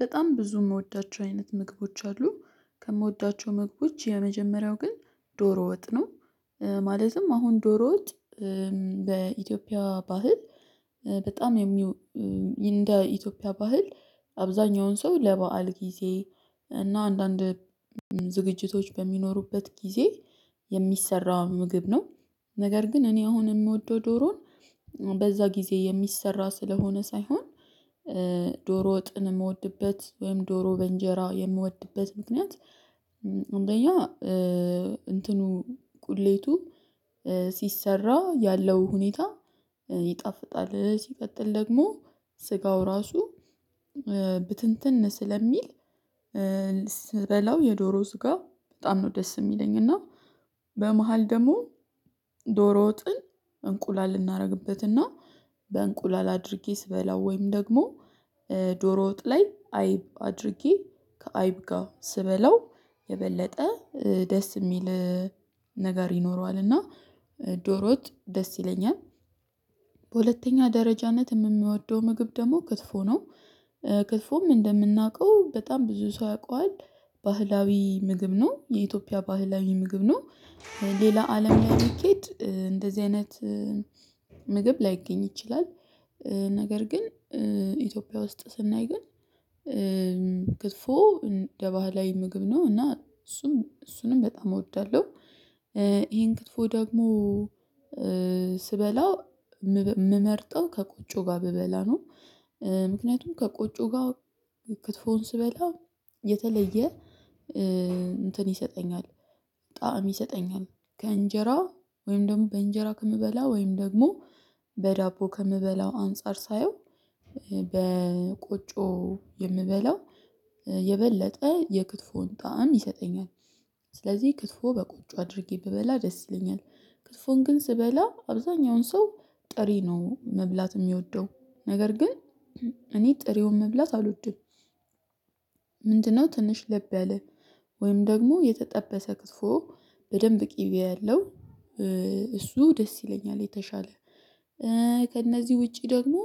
በጣም ብዙ የምወዳቸው አይነት ምግቦች አሉ ከምወዳቸው ምግቦች የመጀመሪያው ግን ዶሮ ወጥ ነው። ማለትም አሁን ዶሮ ወጥ በኢትዮጵያ ባህል በጣም የሚወ የሚው እንደ ኢትዮጵያ ባህል አብዛኛውን ሰው ለበአል ጊዜ እና አንዳንድ ዝግጅቶች በሚኖሩበት ጊዜ የሚሰራ ምግብ ነው። ነገር ግን እኔ አሁን የምወደው ዶሮን በዛ ጊዜ የሚሰራ ስለሆነ ሳይሆን ዶሮ ወጥን የምወድበት ወይም ዶሮ በእንጀራ የምወድበት ምክንያት። አንደኛ እንትኑ ቁሌቱ ሲሰራ ያለው ሁኔታ ይጣፍጣል። ሲቀጥል ደግሞ ስጋው ራሱ ብትንትን ስለሚል ስበላው የዶሮ ስጋ በጣም ነው ደስ የሚለኝ። እና በመሃል ደግሞ ዶሮ ወጥን እንቁላል እናደርግበትና በእንቁላል አድርጌ ስበላው ወይም ደግሞ ዶሮ ወጥ ላይ አይብ አድርጌ ከአይብ ጋር ስበለው የበለጠ ደስ የሚል ነገር ይኖረዋልና። ዶሮ ወጥ ደስ ይለኛል። በሁለተኛ ደረጃነት የምወደው ምግብ ደግሞ ክትፎ ነው። ክትፎም እንደምናውቀው በጣም ብዙ ሰው ያውቀዋል ባህላዊ ምግብ ነው የኢትዮጵያ ባህላዊ ምግብ ነው። ሌላ አለም ላይ ቢኬድ እንደዚህ አይነት ምግብ ላይገኝ ይችላል። ነገር ግን ኢትዮጵያ ውስጥ ስናይ ግን ክትፎ እንደ ባህላዊ ምግብ ነው እና እሱም እሱንም በጣም እወዳለሁ። ይሄን ክትፎ ደግሞ ስበላው የምመርጠው ከቆጮ ጋር ብበላ ነው። ምክንያቱም ከቆጮ ጋር ክትፎውን ስበላ የተለየ እንትን ይሰጠኛል ጣዕም ይሰጠኛል። ከእንጀራ ወይም ደግሞ በእንጀራ ከምበላ ወይም ደግሞ በዳቦ ከምበላው አንፃር ሳየው በቆጮ የምበላው የበለጠ የክትፎን ጣዕም ይሰጠኛል። ስለዚህ ክትፎ በቆጮ አድርጌ ብበላ ደስ ይለኛል። ክትፎ ግን ስበላ አብዛኛውን ሰው ጥሬ ነው መብላት የሚወደው ነገር ግን እኔ ጥሬውን መብላት አልወድም። ምንድነው ትንሽ ልብ ያለ ወይም ደግሞ የተጠበሰ ክትፎ። በደንብ ቅቤ ያለው እሱ ደስ ይለኛል። የተሻለ ከእነዚህ ውጪ ደግሞ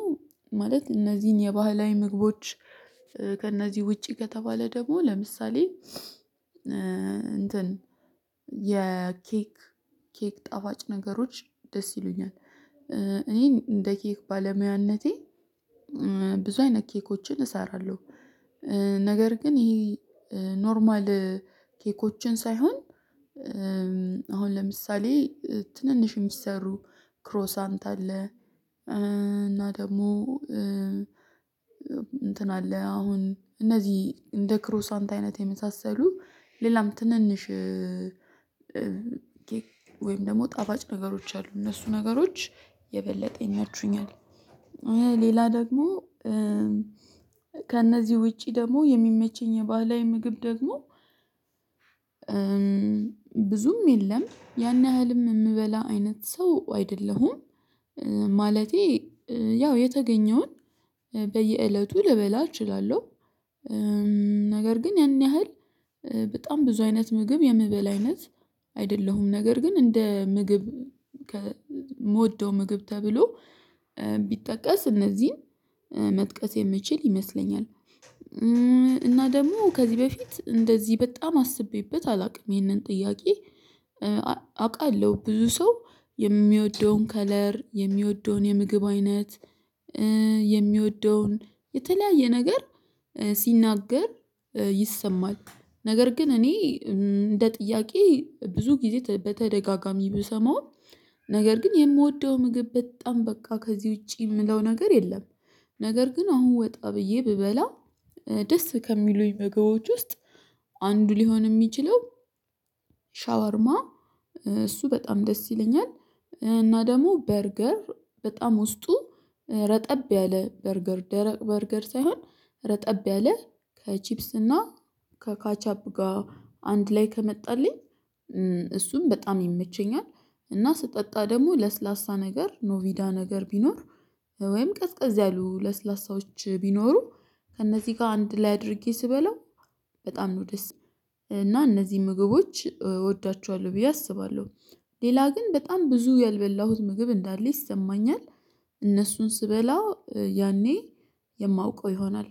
ማለት እነዚህን የባህላዊ ምግቦች ከእነዚህ ውጪ ከተባለ ደግሞ ለምሳሌ እንትን የኬክ ኬክ ጣፍጭ ነገሮች ደስ ይሉኛል። እኔን እንደ ኬክ ባለሙያነቴ ብዙ አይነት ኬኮችን እሰራለሁ። ነገር ግን ይሄ ኖርማል ኬኮችን ሳይሆን አሁን ለምሳሌ ትንንሽ የሚሰሩ ክሮሳንት አለ። እና ደግሞ እንትን አለ አሁን እነዚህ እንደ ክሮሳንት አይነት የመሳሰሉ ሌላም ትንንሽ ኬክ ወይም ደግሞ ጣፋጭ ነገሮች አሉ እነሱ ነገሮች የበለጡ ይመቹኛል። ሌላ ደግሞ ከእነዚህ ውጪ ደግሞ የሚመቸኝ የባህላዊ ምግብ ደግሞ ብዙም የለም ያን ያህልም የምበላ አይነት ሰው አይደለሁም። ማለቴ ያው የተገኘውን በየእለቱ ልበላ እችላለሁ። ነገር ግን ያን ያህል በጣም ብዙ አይነት ምግብ የምበላ አይነት አይደለሁም ነገር ግን እንደ ምግብ ከምወደው ምግብ ተብሎ ቢጠቀስ እነዚህን መጥቀስ የምችል ይመስለኛል። እና ደግሞ ከዚህ በፊት እንደዚህ በጣም አስቤበት አላውቅም። ይህንን ጥያቄ አውቃለሁ ብዙ ሰው የሚወደውን ከለር የሚወደውን የምግብ አይነት የሚወደውን የተለያየ ነገር ሲናገር ይሰማል። ነገር ግን እኔ እንደ ጥያቄ ብዙ ጊዜ በተደጋጋሚ ብሰማውም ነገር ግን የምወደው ምግብ በጣም በቃ ከዚህ ውጪ የምለው ነገር የለም። ነገር ግን አሁን ወጣ ብዬ ብበላ ደስ ከሚሉኝ ምግቦች ውስጥ አንዱ ሊሆን የሚችለው ሻወርማ እሱ በጣም ደስ ይለኛል። እና ደግሞ በርገር በጣም ውስጡ ረጠብ ያለ በርገር ደረቅ በርገር ሳይሆን ረጠብ ያለ ከቺፕስ እና ከካቻፕ ጋር አንድ ላይ ከመጣልኝ እሱም በጣም ይመቸኛል። እና ስጠጣ ደግሞ ለስላሳ ነገር ኖቪዳ ነገር ቢኖር ወይም ቀዝቀዝ ያሉ ለስላሳዎች ቢኖሩ ከእነዚህ ጋር አንድ ላይ አድርጌ ስበላው በጣም ነው ደስ እና እነዚህ ምግቦች እወዳቸዋለሁ ብዬ አስባለሁ። ሌላ ግን በጣም ብዙ ያልበላሁት ምግብ እንዳለ ይሰማኛል። እነሱን ስበላው ያኔ የማውቀው ይሆናል